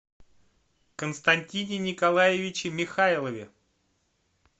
константине николаевиче михайлове